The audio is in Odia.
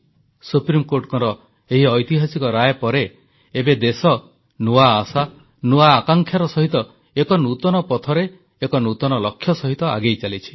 ସୁପ୍ରିମକୋର୍ଟଙ୍କର ଏହି ଐତିହାସିକ ରାୟ ପରେ ଏବେ ଦେଶ ନୂଆ ଆଶା ନୂଆ ଆକାଂକ୍ଷାର ସହିତ ଏକ ନୂତନ ପଥରେ ଏକ ନୂତନ ଲକ୍ଷ୍ୟ ସହିତ ଆଗେଇଚାଲିଛି